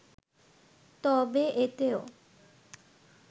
তবে এতেও